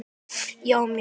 Já mjög